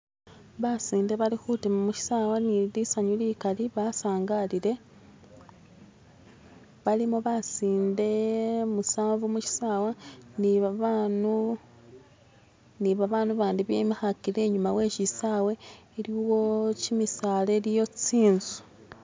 basinde bali hutima mushisawa nilisanyu likali basangalile balimo basinde musanvu mushisawa nibabanu nibabanu bandi bemihakile inyuma weshisawe iliwo kyimisaala iliyo tsinzu